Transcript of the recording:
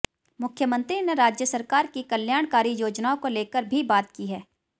मुख्यमंत्री ने राज्य सरकार की कल्याणकारी योजनाओं को लेकर भी बात की है